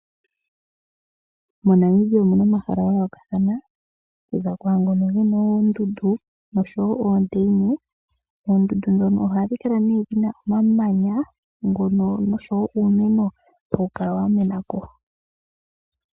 Mo Namibia omuna omahala ga yoolokathana kuza kwaangono gena oondundu noshowo oondeina , oondundu dhono ohadhi kala nee dhina oma manya nuumeno wamenako .